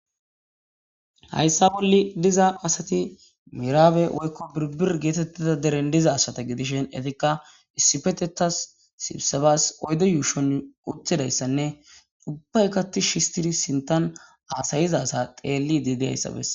hayssa bolle diza asati miraabe woykko biribir geetettida deren diza asata gidishen etikka issifetetas sibisabas oydo yuushon uttidayssanne dubba kati shistiri sintan aasayiza sa xeelli dideyayssabess